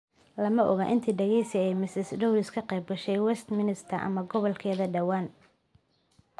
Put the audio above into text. Lama oga inta dhageysi ee Ms Dorries ay ka qeybgashay Westminster ama gobolkeeda dhawaan.